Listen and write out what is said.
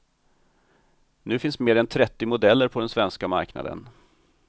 Nu finns mer än trettio modeller på den svenska marknaden.